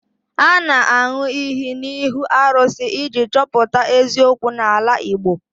A na-aṅụ iyi n'ihu arụsị iji chọpụta eziokwu n'ala Igbo